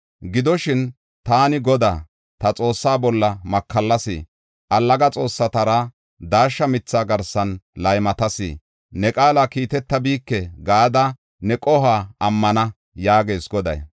Gidoshin, ‘Taani Godaa, ta Xoossaa bolla makallas. Allaga xoossatara daashsha mitha garsan laymatas. Ne qaala kiitetabike’ gada ne qohuwa ammana” yaagees Goday.